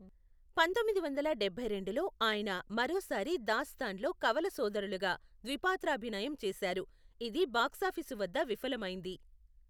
పంతొమ్మిది వందల డభైరెండులో, ఆయన మరోసారి దాస్తాన్ లో కవల సోదరులుగా ద్విపాత్రాభినయం చేశారు, ఇది బాక్సాఫీసు వద్ద విఫలమైంది.